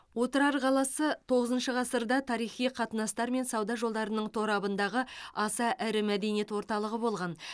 отырар қаласы тоғызыншы ғасырда тарихи қатынастар мен сауда жолдарының торабындағы аса ірі мәдениет орталығы болған